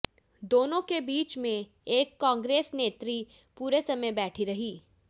दोनों के बीच में एक कांग्रेस नेत्री पूरे समय बैठी रही